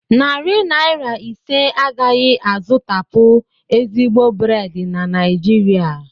Narị naira ise agaghị azụtapụ ezigbo brèd na Naịjirịa